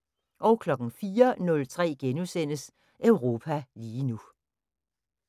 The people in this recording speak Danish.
04:03: Europa lige nu *